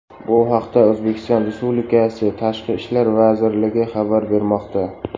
Bu haqda O‘zbekiston Respublikasi Tashqi ishlar vazirligi xabar bermoqda .